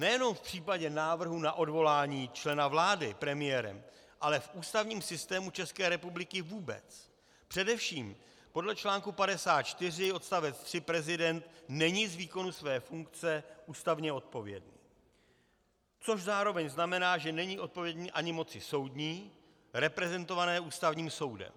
Nejenom v případě návrhu na odvolání člena vlády premiérem, ale v ústavním systému České republiky vůbec, především podle článku 54 odst. 3 prezident není z výkonu své funkce ústavně odpovědný, což zároveň znamená, že není odpovědný ani moci soudní reprezentované Ústavním soudem.